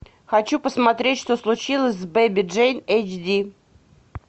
хочу посмотреть что случилось с бэби джейн эйч ди